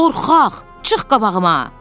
Qorxaq, çıx qabağıma!